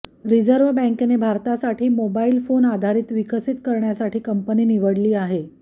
reserve बँकेने भारतासाठी mobile phone आधारित विकसित करण्यासाठी कम्पनी निवडली आहे